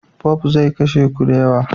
POP zai kashe ku da yawa